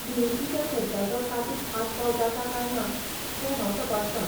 दुरुस्तीच्या खर्चाचो तातूंत आस्पाव जाता काय ना तें हांव तपासतां.